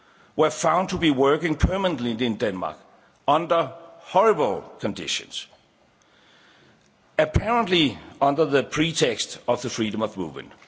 were found to be working permanently in Denmark under horrible conditions, apparently under the pretext of the freedom of movement.